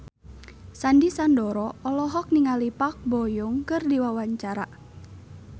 Sandy Sandoro olohok ningali Park Bo Yung keur diwawancara